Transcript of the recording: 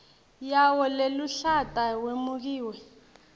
yawo leluhlata wemukiwe